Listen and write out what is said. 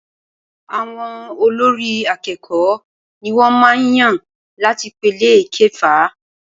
Àwọn olórí àkẹ́kọ̀ọ ní wọ́n màá n yàn láti ipele ìkẹfà.